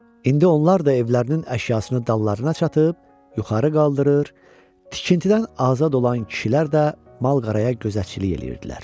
İndi onlar da evlərinin əşyasını dallarına çatıb, yuxarı qaldırır, tikintidən azad olan kişilər də mal-qoyunlara gözətçilik eləyirdilər.